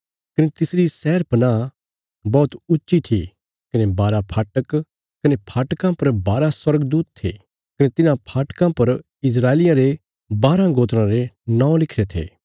कने तिसरी शहरपनाह बौहत ऊच्ची थी कने बारा फाटक कने फाटकां पर बारा स्वर्गदूत थे कने तिन्हां फाटकां पर इस्राएलियां रे बाराँ गोत्राँ रे नौं लिखिरे थे